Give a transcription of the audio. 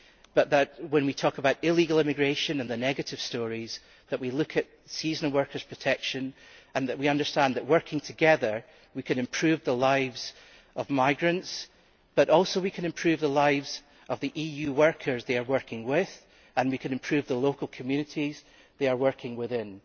I hope that when we talk about illegal immigration and the negative stories that we look at seasonal workers' protection and that we understand that working together we can improve the lives of migrants, as well as the lives of the EU workers they are working with, and we can improve the local communities they are working within.